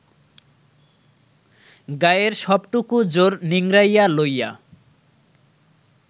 গায়ের সবটুকু জোর নিংড়াইয়া লইয়া